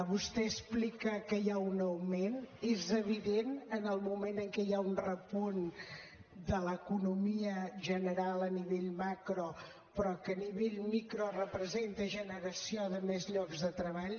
vostè explica que hi ha un augment és evident en el moment en què hi ha un repunt de l’economia general a nivell macro però que a nivell micro representa generació de més llocs de treball